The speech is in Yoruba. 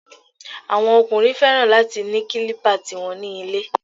Àwọn ọkùnrin fẹ́ràn láti ni kílípà ti wọn ní ilé